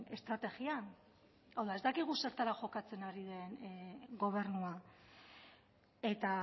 estrategian hau da ez dakigu zertara jokatzen ari den gobernua eta